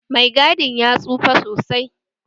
Mai gadin ya tsufa sosai